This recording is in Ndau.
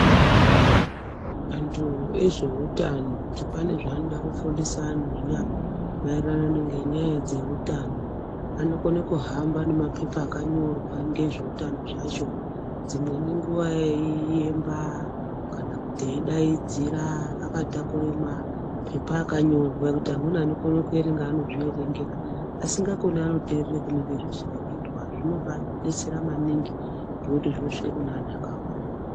Antu ezveutano kuti pane zvaanoda kufundisa vanhu zviya, maererano ngenyaya dzeutano, anokone kuhamba nemapepa akanyorwa ngezveutano zvacho. Dzimweni nguwa eiiyemba kana kuti kuti akatakurab mapepa akanyorwa zvekuti anokone kuerenga anozviverengera, asikakoni anoterere kune zvinenge zveireketwa eidaidzira akatakura zvinobatsera maningi. ngekuti zvinosvike kuna anhu akawanda.